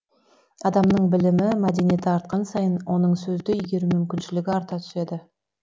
адамның білімі мәдениеті артқан сайын оның сөзді игеру мүмкіншілігі арта түседі